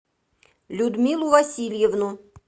людмилу васильевну